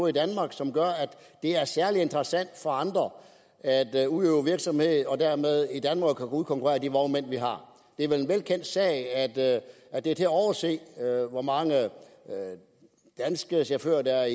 i danmark som gør at det er særlig interessant for andre at udøve virksomhed i danmark og dermed kan udkonkurrere de vognmænd vi har det er vel en velkendt sag at at det er til at overse hvor mange danske chauffører der er